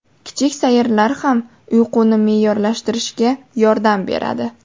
Kichik sayrlar ham uyquni me’yorlashtirishga yordam beradi.